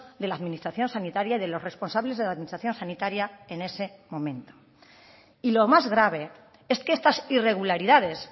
de la administración sanitaria de los responsables de la administración sanitaria en ese momento y lo más grave es que estas irregularidades